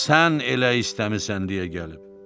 sən elə istəmisən deyə gəlib.